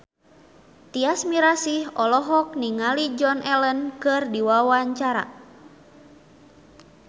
Tyas Mirasih olohok ningali Joan Allen keur diwawancara